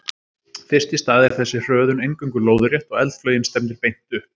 Fyrst í stað er þessi hröðun eingöngu lóðrétt og eldflaugin stefnir beint upp.